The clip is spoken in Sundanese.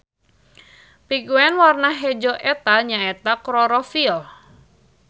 Pigmen warna hejo eta nya eta klorofil.